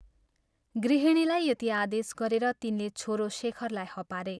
" गृहिणीलाई यति आदेश गरेर तिनले छोरो शेखरलाई हपारे।